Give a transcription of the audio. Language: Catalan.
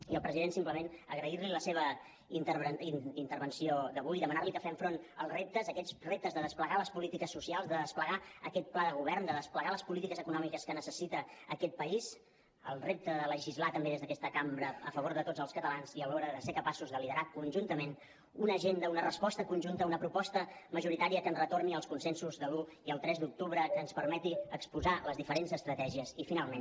i al president simplement agrair li la seva intervenció d’avui demanar li que fem front als reptes a aquests reptes de desplegar les polítiques socials de desplegar aquest pla de govern de desplegar les polítiques econòmiques que necessita aquest país al repte de legislar també des d’aquesta cambra a favor de tots els catalans i alhora de ser capaços de liderar conjuntament una agenda una resposta conjunta una proposta majoritària que ens retorni als consensos de l’un i el tres d’octubre que ens permeti exposar les diferents estratègies i finalment